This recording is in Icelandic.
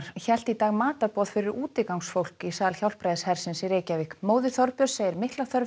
hélt í dag matarboð fyrir útigangsfólk í sal Hjálpræðishersins í Reykjavík móðir Þorbjörns segir mikla þörf